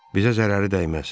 Bizə zərəri dəyməz.